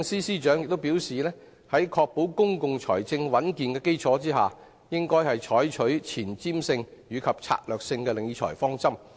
司長亦表示，在確保公共財政穩健的基礎上，應採取前瞻性及策略性的理財方針。